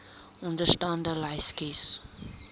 onderstaande lys kies